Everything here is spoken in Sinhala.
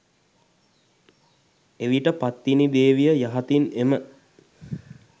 එවිට පත්තිනි දේවිය යහතින් එම